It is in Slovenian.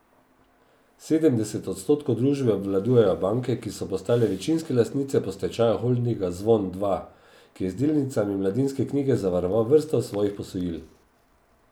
Sedemdeset odstotkov družbe obvladujejo banke, ki so postale večinske lastnice po stečaju holdinga Zvon dva, ki je z delnicami Mladinske knjige zavaroval vrsto svojih posojil.